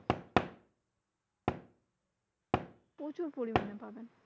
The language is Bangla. প্রচুর পরিমানে পাবেন।